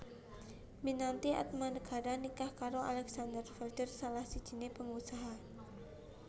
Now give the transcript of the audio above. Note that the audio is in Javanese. Minati Atmanegara nikah karo Alexander Felder salah sijine pengusaha